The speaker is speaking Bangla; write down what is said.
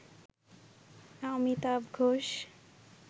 অমিতাভ ঘোষ